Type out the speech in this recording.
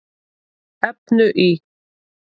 efnu í